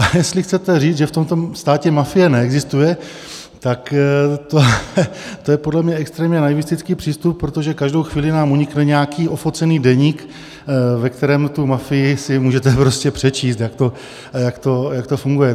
A jestli chcete říct, že v tomto státě mafie neexistuje, tak to je podle mě extrémně naivistický přístup, protože každou chvíli nám unikne nějaký ofocený deník, ve kterém tu mafii si můžete prostě přečíst, jak to funguje.